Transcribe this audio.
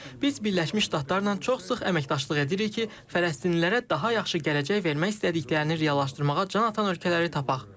Biz Birləşmiş Ştatlarla çox sıx əməkdaşlıq edirik ki, Fələstinlilərə daha yaxşı gələcək vermək istədiklərini reallaşdırmağa can atan ölkələri tapaq.